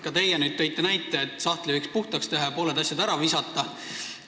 Ka teie tõite näite, et sahtli võiks puhtaks teha ja pooled asjad ära visata.